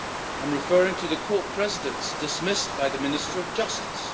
I am referring to the Court Presidents dismissed by the Minister of Justice.